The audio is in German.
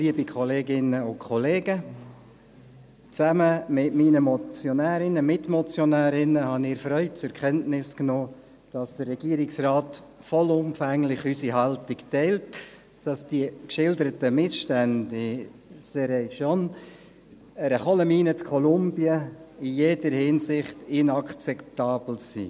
Gemeinsam mit meinen Mitmotionären habe ich erfreut zur Kenntnis genommen, dass der Regierungsrat vollumfänglich unsere Haltung teilt, dass die geschilderten Missstände in Cerrejón, einer Kohlenmine in Kolumbien, in jeder Hinsicht inakzeptabel sind.